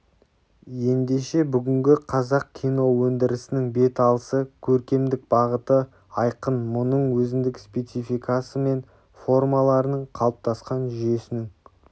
ендеше бүгінгі қазақ киноөндірісінің бет алысы көркемдік бағыты айқын мұның өзіндік спецификасы мен формаларының қалыптасқан жүйесінің